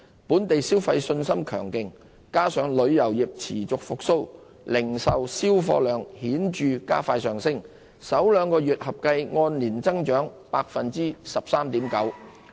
本地消費信心強勁，加上旅遊業持續復蘇，零售銷貨量顯著加快上升，首兩個月合計按年增長 13.9%。